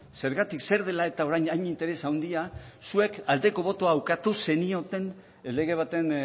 zergatik zer dela eta orain hain interes handia zuek aldeko botoa ukatu zenioten lege baten